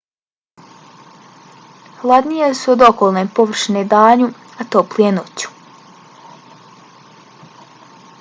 hladnije su od okolne površine danju a toplije noću.